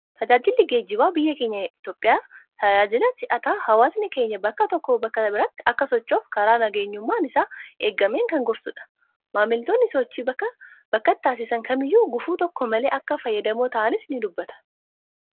Tajaajilli geejibaa biyya keenya Itoophiyaa, tajaajila si'ataa hawaasni keenya bakka tokkoo bakka biraatti akka sochu'uuf karaa nageenyummaan isaa eegameen kan gorsudha. Maamiltoonni sochii bakka bakkatti taasisan kamiyyu gufuu tokko malee akka fayyadamoo ta'anis ni dubbata.